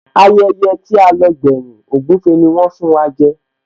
Ayẹyẹ tí a lọ gbẹ́yìn, ògúfe ni wón fún wa jẹ